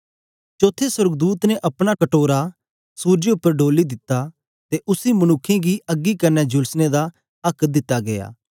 चौथे सोर्गदूत ने अपना कटोरा सुरजे उपर डोली दित्ता ते उसी मनुक्खें गी अग्गी कन्ने झुलसने दा आक्क दिता गीया